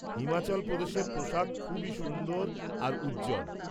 হিমাচল প্রদেশের পোশাক খুবই সুন্দর আর উজ্জ্বল।